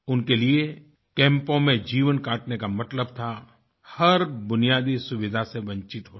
उनके लिए कैम्पों में जीवन काटने का मतलब था हर बुनियादी सुविधा से वंचित होना